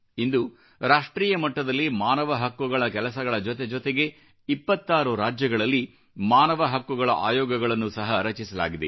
ಇಂದು ರಾಷ್ಟ್ರೀಯ ಮಟ್ಟದಲ್ಲಿ ಮಾನವ ಹಕ್ಕುಗಳ ಕೆಲಸಗಳ ಜೊತೆಜೊತೆಗೆ 26 ರಾಜ್ಯಗಳಲ್ಲಿ ಮಾನವ ಹಕ್ಕುಗಳ ಆಯೋಗಗಳನ್ನು ಸಹ ರಚಿಸಲಾಗಿದೆ